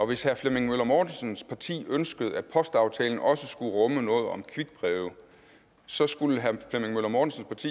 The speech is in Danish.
hvis herre flemming møller mortensens parti ønskede at postaftalen også skulle rumme noget om quickbreve så skulle herre flemming møller mortensens